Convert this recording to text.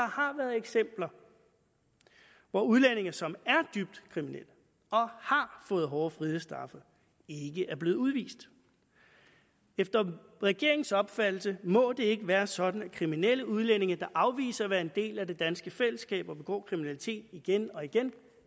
har været eksempler hvor udlændinge som er dybt kriminelle og har fået hårde frihedsstraffe ikke er blevet udvist efter regeringens opfattelse må det ikke være sådan at kriminelle udlændinge der afviser at være en del af det danske fællesskab og begår kriminalitet igen og igen